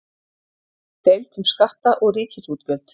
Deilt um skatta og ríkisútgjöld